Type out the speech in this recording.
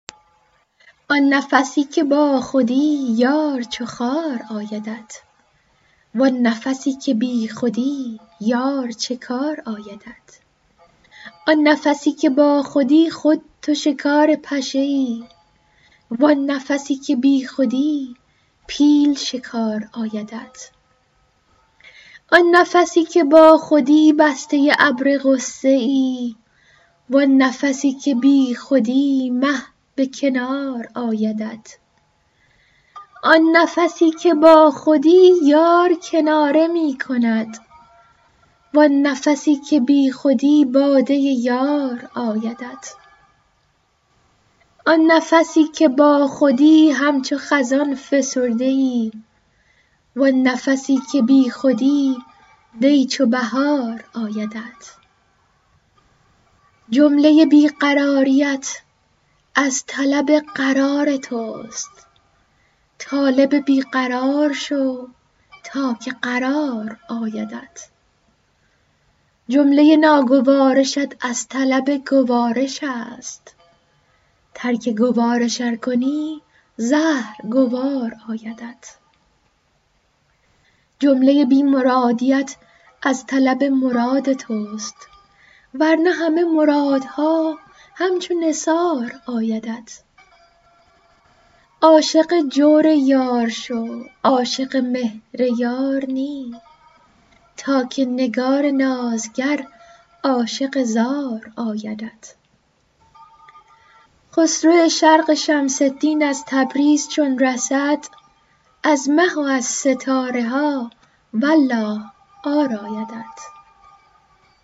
آن نفسی که باخودی یار چو خار آیدت وان نفسی که بیخودی یار چه کار آیدت آن نفسی که باخودی خود تو شکار پشه ای وان نفسی که بیخودی پیل شکار آیدت آن نفسی که باخودی بسته ابر غصه ای وان نفسی که بیخودی مه به کنار آیدت آن نفسی که باخودی یار کناره می کند وان نفسی که بیخودی باده یار آیدت آن نفسی که باخودی همچو خزان فسرده ای وان نفسی که بیخودی دی چو بهار آیدت جمله بی قراریت از طلب قرار توست طالب بی قرار شو تا که قرار آیدت جمله ناگوارشت از طلب گوارش است ترک گوارش ار کنی زهر گوار آیدت جمله بی مرادیت از طلب مراد توست ور نه همه مرادها همچو نثار آیدت عاشق جور یار شو عاشق مهر یار نی تا که نگار نازگر عاشق زار آیدت خسرو شرق شمس دین از تبریز چون رسد از مه و از ستاره ها والله عار آیدت